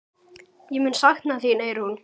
Ég mun sakna þín, Eyrún.